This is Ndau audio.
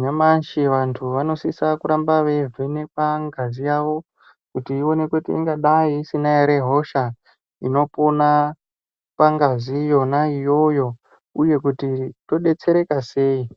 nyamashi vantu vanosisa kuramba veivhenekwa ngazi yavo kuti iwonekwe kuti ingadai isina ere hosha inopona pangazi yona iyoyo uye kuti tobetsereka sei.